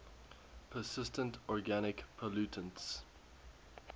persistent organic pollutants